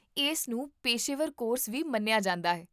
ਇਸ ਨੂੰ ਪੇਸ਼ੇਵਰ ਕੋਰਸ ਵੀ ਮੰਨਿਆ ਜਾਂਦਾ ਹੈ